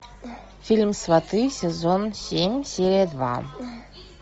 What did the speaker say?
фильм сваты сезон семь серия два